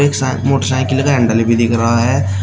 एक side motorcycle का handle भी दिख रहा है।